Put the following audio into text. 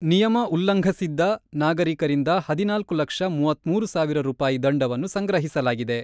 ನಿಯಮ ಉಲ್ಲಂಘಸಿದ್ದ ನಾಗರಿಕರಿಂದ ಹದಿನಾಲ್ಕು ಲಕ್ಷ ಮೂವತ್ತ್ ಮೂರು ಸಾವಿರ ರೂಪಾಯಿ ದಂಡವನ್ನು ಸಂಗ್ರಹಿಸಲಾಗಿದೆ.